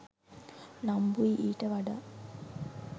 නම්බුයි ඊට වඩා.